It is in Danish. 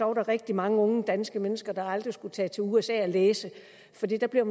var der rigtig mange unge danske mennesker der aldrig skulle tage til usa og læse for der bliver